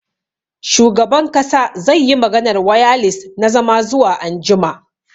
Shugaban kasa zai yi maganar wayalis na zama zuwa anjima.